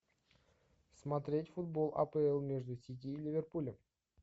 смотреть футбол апл между сити и ливерпулем